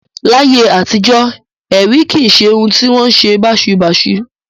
Láyé àtijọ́, ẹ̀rí kì í ṣe ohun tí ó wọn ṣe báṣubàṣu